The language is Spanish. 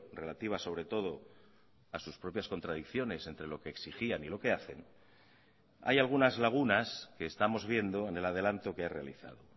relativas sobre todo a sus propias contradicciones entre lo que exigían y lo que hacen hay algunas lagunas que estamos viendo en el adelanto que ha realizado